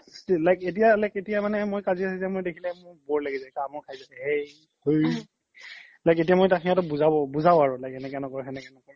still like এতিয়া like এতিয়া মানে মই কাজিয়া চাজিয়া দেখিলে মোৰ bore লাগি যাই কামোৰ লাগি যাই হেই like এতিয়া মই সিহ্তক বুজাও আৰু এনেকে ন্কৰ সেনেকে ন্কৰ